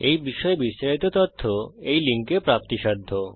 এই বিষয়ে বিস্তারিত তথ্য এই লিঙ্কে প্রাপ্তিসাধ্য